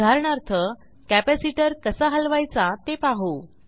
उदाहरणार्थ कॅपॅसिटर कसा हलवायचा ते पाहू